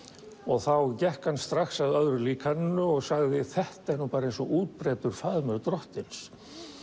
þá gekk hann strax að öðru líkaninu og sagði þetta er nú eins og útbreiddur faðmur drottins